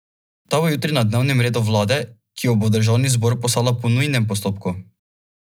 Ta bo jutri na dnevnem redu vlade, ki jo bo v državni zbor poslala po nujnem postopku.